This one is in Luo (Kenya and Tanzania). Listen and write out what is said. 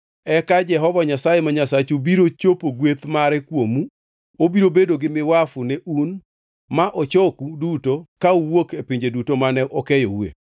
eka Jehova Nyasaye ma Nyasachu biro chopo gweth mare kuomu obiro bedo gi miwafu ne un ma ochoku duto ka uwuok e pinje duto mane okeyoue.